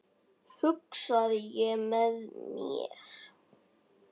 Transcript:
hugsaði ég með mér.